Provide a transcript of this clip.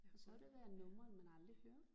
For så har der været numre man aldrig hører